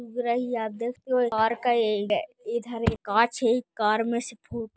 उग रही है आप देख कार का एंड है इधर एक काँच है कार में से फोटो --